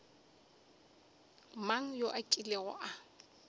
mang yo a kilego a